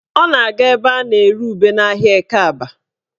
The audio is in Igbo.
Ọ na-aga ebe a na-ere ube n'ahịa Ekeaba